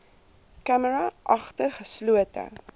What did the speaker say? camera agter geslote